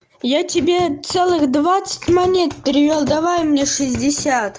я тебя целых двадцать монет перевела давай мне шестьдесят